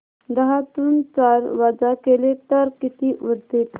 दहातून चार वजा केले तर किती उरतील